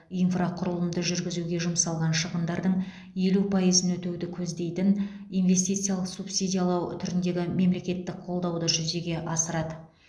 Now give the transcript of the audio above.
инфрақұрылымды жүргізуге жұмсалған шығындардың елу пайызын өтеуді көздейтін инвестициялық субсидиялау түріндегі мемлекеттік қолдауды жүзеге асырады